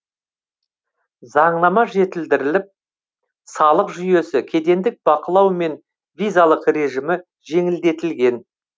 заңнама жетілдіріліп салық жүйесі кедендік бақылау мен визалық режимі жеңілдетілген